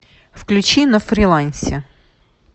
включи на фрилансе